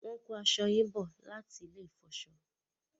wón ko aṣọ yín bó láti ní ilè ifọṣọ.